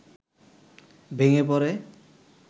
ভেঙে পড়ে